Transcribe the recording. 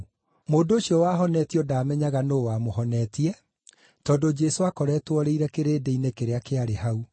Mũndũ ũcio wahonetio ndaamenyaga nũũ wamũhonetie, tondũ Jesũ aakoretwo orĩire kĩrĩndĩ-inĩ kĩrĩa kĩarĩ hau.